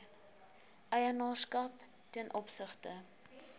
eienaarskap ten opsigte